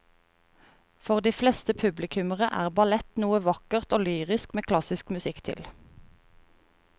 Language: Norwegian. For de fleste publikummere er ballett noe vakkert og lyrisk med klassisk musikk til.